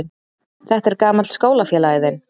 Þetta er gamall skólafélagi þinn.